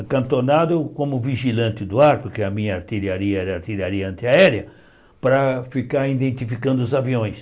Acantonado como vigilante do ar, porque a minha artilharia era artilharia antiaérea, para ficar identificando os aviões.